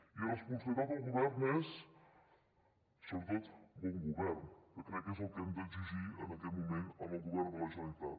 i responsabilitat al govern és sobretot bon govern que crec que és el que hem d’exigir en aquest moment al govern de la generalitat